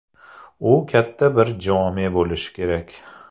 U katta bir jome bo‘lishi kerak.